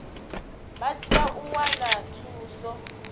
vha tea u wana thuso